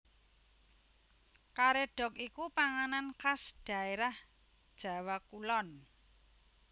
Karédhok iku panganan khas dhaérah Jawa Kulon